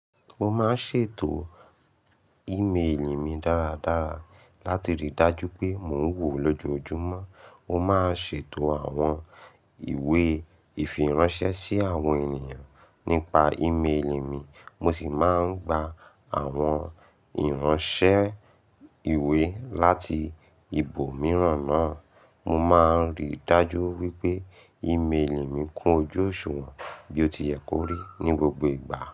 Mo máa ń ṣètò ìmeèlì mi dáradára láti rí i dájú pé mò ń wò lójoojúmọ́. Mo máa ń ṣètò àwọn ìwé ìfiránṣẹ́ sí àwọn ènìyàn nípa ìmeèlì mi, mo sì máa ń gba àwọn ìránṣẹ́ ìwé láti ibòmíràn náà. Mo máa ń rí i dájú wípé ìmeèlì mi kún ojú òṣùwọ̀n bí ó ti yẹ kó rí ní gbogbo ìgbà.